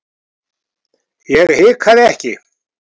Ég hikaði ekki.